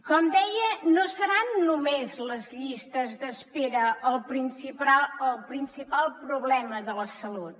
com deia no seran només les llistes d’espera el principal problema de la salut